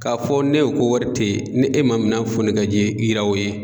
K'a fɔ ne ye ko wari tɛ ye ni e man minan foni ka ji yira o ye.